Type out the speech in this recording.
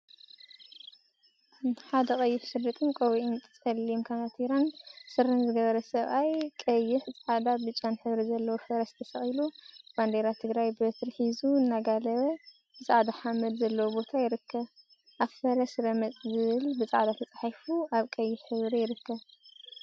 ሓደ ቀይሕ ሸሪጥን ቆቢዕን፣ ፀሊም ከናቲራን ስረን ዝገበረ ሰብአይ ቀይሕ፣ ፃዕዳን ብጫን ሕብሪ ዘለዎ ፈረስ ተሰቂሉ ባንዴራ ትግራይ ብበትሪ ሒዙ እናጋለበ ብፃዕዳ ሓመድ ዘለዎ ቦታ ይርከብ፡፡ አብ ፈረስ ረመፅ ዝብል ብፃዕዳ ተፃሒፉ አብ ቀይሕ ሕብሪ ይርከብ፡፡